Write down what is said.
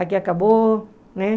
Aqui acabou, né?